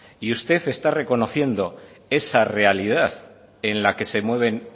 y usted está reconociendo esa realidad en la que se mueven